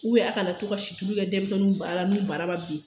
a kana na to' ka situlu kɛ denmisɛnninw bara la n'u bara ma bin.